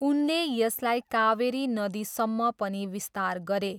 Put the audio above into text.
उनले यसलाई कावेरी नदीसम्म पनि विस्तार गरे।